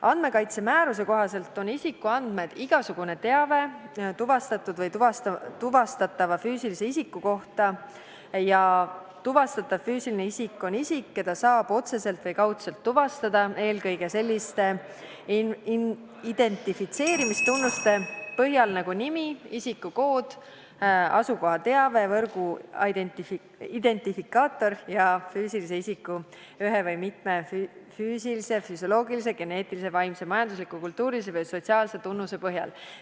Andmekaitsemääruse kohaselt on isikuandmed igasugune teave tuvastatud või tuvastatava füüsilise isiku kohta ja tuvastatav füüsiline isik on isik, keda saab otseselt või kaudselt tuvastada, eelkõige selliste identifitseerimistunnuste põhjal nagu nimi, isikukood, asukohateave, võrguidentifikaator, ja füüsilise isiku ühe või mitme füüsilise, füsioloogilise, geneetilise, vaimse, majandusliku, kultuurilise või sotsiaalse tunnuse põhjal.